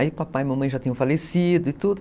Aí papai e mamãe já tinham falecido e tudo.